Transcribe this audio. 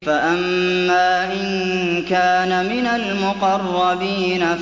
فَأَمَّا إِن كَانَ مِنَ الْمُقَرَّبِينَ